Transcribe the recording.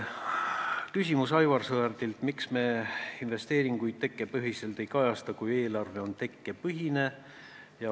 Küsimus Aivar Sõerdilt: miks me investeeringuid tekkepõhiselt ei kajasta, kui eelarve on tekkepõhine?